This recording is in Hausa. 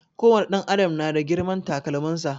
Ko wani ɗan adam na da girman takalmin sa